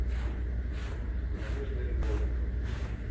надежда львовна